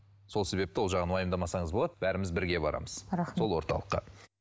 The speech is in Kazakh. сол себепті ол жағын уайымдамасаңыз болады бәріміз бірге барамыз рахмет сол орталыққа